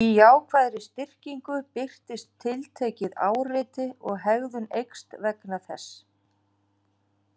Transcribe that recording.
Í jákvæðri styrkingu birtist tiltekið áreiti og hegðun eykst vegna þess.